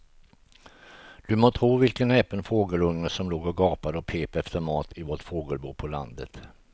Du må tro vilken näpen fågelunge som låg och gapade och pep efter mat i vårt fågelbo på landet.